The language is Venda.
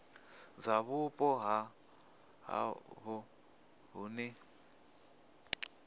dza vhupo ha havho hune